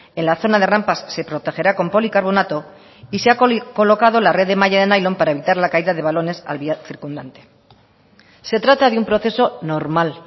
en la zona de rampas se protegerá con policarbonato y se ha colocado la red de malla de nailon para evitar la caída de balones al vial circundante se trata de un proceso normal